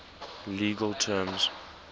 legal terms